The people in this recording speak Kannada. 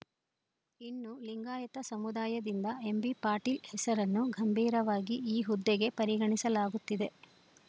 ಇನ್ನು ಲಿಂಗಾಯತ ಸಮುದಾಯದಿಂದ ಎಂಬಿಪಾಟೀಲ್‌ ಹೆಸರನ್ನು ಗಂಭೀರವಾಗಿ ಈ ಹುದ್ದೆಗೆ ಪರಿಗಣಿಸಲಾಗುತ್ತಿದೆ